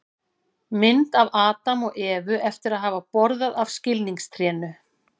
mynd af adam og evu eftir að hafa borðað af skilningstrénu